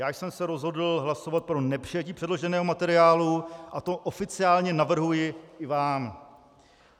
Já jsem se rozhodl hlasovat pro nepřijetí předloženého materiálu a to oficiálně navrhuji i vám.